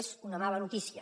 és una mala notícia